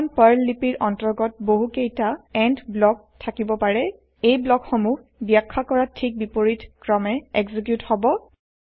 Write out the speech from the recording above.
এখন পাৰ্ল লিপিৰ অন্তৰ্গত বহু কেইটা এণ্ড ব্লক থাকিব পাৰে এই ব্লক সমূহ বাখ্যা কৰা ঠিক বিপৰীত ক্ৰমে এক্সিকিউত হব